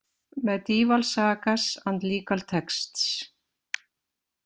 Mediaeval Sagas and Legal Texts.